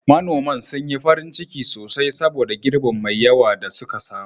Manoman sun yi farin ciki sosai saboda girbin mai yawa da suka samu.